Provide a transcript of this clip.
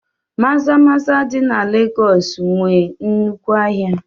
Maza-maza dị na Legọọsị nwee nnukwu ahịa